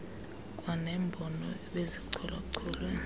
kwanembono ebezichola cholwe